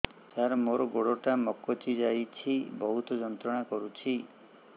ସାର ମୋର ଗୋଡ ଟା ମଛକି ଯାଇଛି ବହୁତ ଯନ୍ତ୍ରଣା କରୁଛି